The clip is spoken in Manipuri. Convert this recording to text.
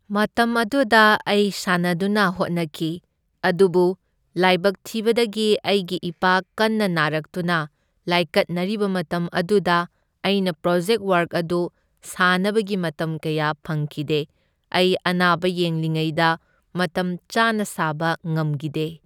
ꯃꯇꯝ ꯑꯗꯨꯗ ꯑꯩ ꯁꯥꯟꯅꯗꯨꯅ ꯍꯣꯠꯅꯈꯤ ꯑꯗꯨꯕꯨ ꯂꯥꯏꯕꯛ ꯊꯤꯕꯗꯒꯤ ꯑꯩꯒꯤ ꯏꯄꯥ ꯀꯟꯅ ꯅꯥꯔꯛꯇꯨꯅ ꯂꯥꯏꯀꯠꯅꯔꯤꯕ ꯃꯇꯝ ꯑꯗꯨꯗ ꯑꯩꯅ ꯄ꯭ꯔꯣꯖꯦꯛ ꯋꯥꯔꯛ ꯑꯗꯨ ꯁꯥꯅꯕꯒꯤ ꯃꯇꯝ ꯀꯌꯥ ꯐꯪꯈꯤꯗꯦ, ꯑꯩ ꯑꯅꯥꯕ ꯌꯦꯡꯂꯤꯉꯩꯗ ꯃꯇꯝ ꯆꯥꯅ ꯁꯥꯕ ꯉꯝꯒꯤꯗꯦ꯫